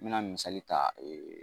N mɛna misali ta